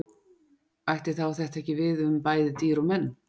Ætti þetta þá ekki við um bæði dýr og menn?